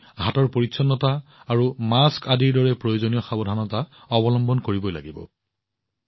আমি হাতৰ পৰিচ্ছন্নতা আৰু মাস্ক আদিৰ দৰে প্ৰয়োজনীয় সাৱধানতা অৱলম্বন কৰিব লাগিব